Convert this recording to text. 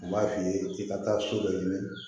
N b'a f'i ye i ka taa so dɔ ɲini